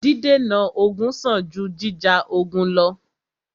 Dídènà ogun sàn jù jíjà ogun lọ́.